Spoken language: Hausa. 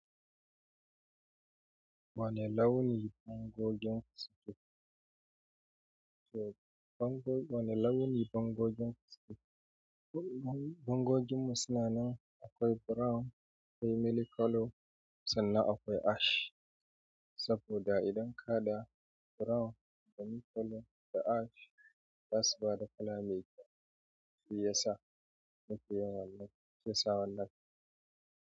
Wane launi pangogin ku suke bangogin, wane launi bangogin fasinja. Bangoginmu suna nan akwai brown, akwai milky color sannan akwai ash. Saboda idan ka da brown da milky da ash ba su ba da kala mai kyau. Shi yasa muke yin wannan, shi yasa wannan.